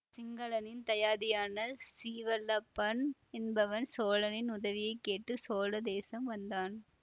சிங்களனின் தயாதியான சீவல்லபன் என்பவன் சோழனின் உதவியை கேட்டு சோழ தேசம் வந்தான்